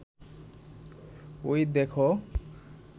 ওই দেখো